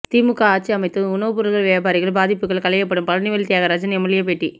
திமுக ஆட்சி அமைந்ததும் உணவு பொருள் வியாபாரிகள் பாதிப்புகள் களையப்படும் பழனிவேல் தியாகராஜன் எம்எல்ஏ பேட்டி